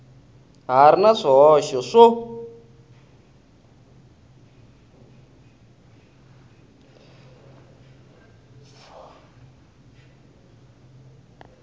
ha ri na swihoxo swo